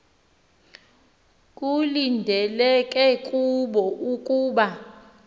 kulindeleke kubo ukuba